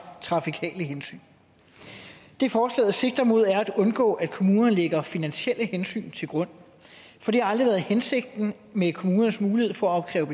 trafikale hensyn det forslaget sigter mod er at undgå at kommunerne lægger finansielle hensyn til grund for det har aldrig været hensigten med kommunernes mulighed for at opkræve